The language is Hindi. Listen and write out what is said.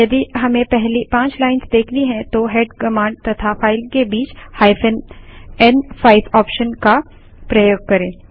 यदि हमें पहली पाँच लाइन्स देखनी हैं तो हेड कमांड तथा फाइल के बीच n5 ऑप्शन का प्रयोग करें